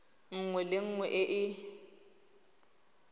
nngwe le nngwe e e